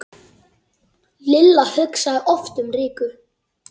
Lilla hugsaði oft um Rikku.